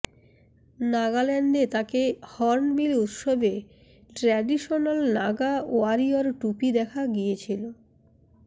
নাগাল্যান্ডে তাঁকে হর্ণবিল উৎসবে traditional Naga warrior টুপি দেখা গিয়েছিল